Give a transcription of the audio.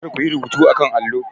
Kar ku yi rubuta a kan allo.